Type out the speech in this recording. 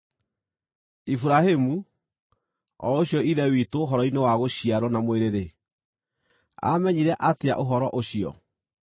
Iburahĩmu, o ũcio ithe witũ ũhoro-inĩ wa gũciarwo na mwĩrĩ-rĩ, aamenyire atĩa ũhoro ũcio?